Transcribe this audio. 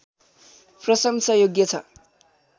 प्रशंसायोग्य छ